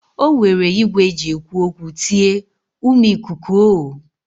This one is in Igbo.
O were igwe e ji ekwu tie: Umu ikuku o!